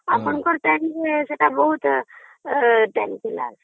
ଆପଣଙ୍କର tenth ଟା ବହୁତ ..... ଥିଲା